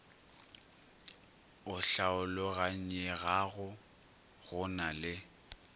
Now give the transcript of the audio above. o hlaologanyegago go na le